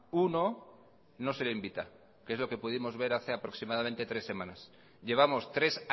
uno no se le invita que es lo que pudimos ver hace aproximadamente tres semanas llevamos tres